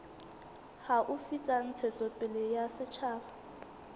haufi tsa ntshetsopele ya setjhaba